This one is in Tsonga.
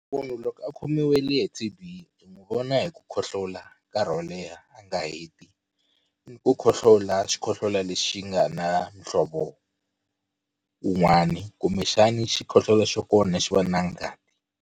Munhu loko a khomiwile hi T_B hi n'wi vona hi ku khohlola nkarhi wo leha a nga heti ni ku khohlola xikhohlola lexi nga na muhlovo wun'wana kumbexani xikhohlola xa kona xi va na ngati.